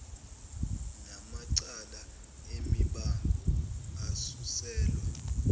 namacala emibango asuselwa